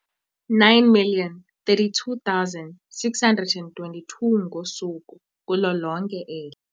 9 032 622 ngosuku kulo lonke eli.